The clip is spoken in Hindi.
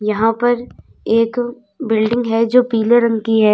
यहां पर एक बिल्डिंग है जो पीले रंग की है।